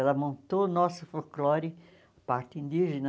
Ela montou o nosso folclore, parte indígena.